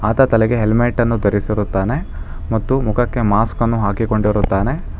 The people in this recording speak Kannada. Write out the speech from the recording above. ತ ತಲೆಗೆ ಹೆಲ್ಮೆಟ್ ಅನ್ನು ಧರಿಸಿರುತ್ತಾನೆ ಮತ್ತು ಮುಖಕ್ಕೆ ಮಾಸ್ಕ್ ಅನ್ನು ಹಾಕಿಕೊಂಡಿರುತ್ತಾನೆ.